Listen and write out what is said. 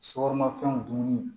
Sokɔnɔ fɛnw dunni